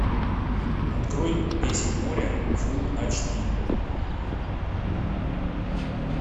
открой песнь моря фулл эйч ди